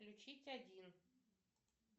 включить один